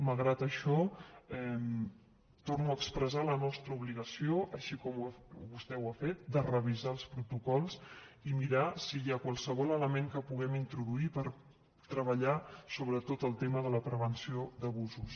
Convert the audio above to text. malgrat això torno a expressar la nostra obligació així com vostè ho ha fet de revisar els protocols i mirar si hi ha qualsevol element que puguem introduir per treballar sobretot el tema de la prevenció d’abusos